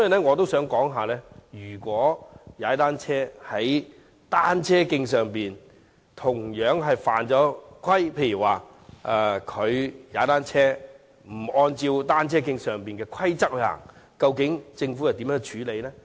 我想問，如果在單車徑上踏單車的人同樣犯規，例如沒有遵守單車徑上的規則，究竟政府會如何處理？